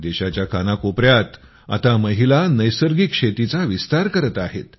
देशाच्या कानाकोपऱ्यात आता महिला नैसर्गिक शेतीचा विस्तार करत आहेत